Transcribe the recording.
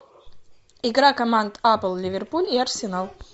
игра команд апл ливерпуль и арсенал